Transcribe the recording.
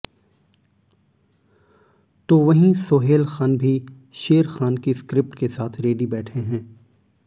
तो वहीं सोहेल ख़ान भी शेर ख़ान की स्क्रिप्ट के साथ रेडी बैठे हैं